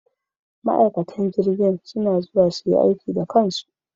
Ma'aikatan jirgin suna zuwa su yi aiki da kansu.